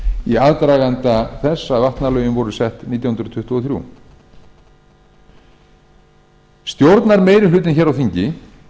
í aðdraganda þess að vatnalögin voru sett nítján hundruð tuttugu og þrjú stjórnarmeirihlutinn hér á þingi